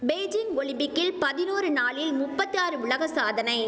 Beijing ஒலிம்பிக்கில் பதினோரு நாளில் முப்பத்தி ஆறு உலக சாதனை